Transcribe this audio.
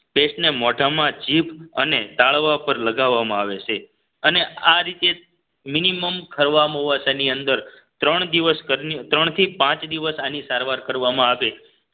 Paste ને મોઢામાં જીભ અને ટાળવા પર લગાવવામાં આવે છે અને આ રીતે મિનિમમ ખારવામોંવાસા ની અંદર ત્રણ દિવસ ઘરની ત્રણથી પાંચ દિવસ આની સારવાર કરવામાં આવે